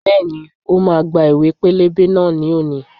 Bẹ́ẹ̀ni, ó máa gba ìwé pẹlẹbẹ náà ni òní.